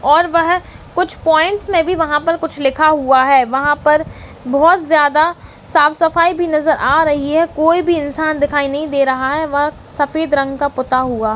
और वह कुछ पॉइंट मे भी वहाँ पर कुछ लिखा हुआ है वहाँ पर बहौत ज्यादा साफ-सफाई भी नजर आ रही है कोई भी इंसान दिखाई नहीं दे रहा है वहाँ सफेद रंग का पुता हुआ --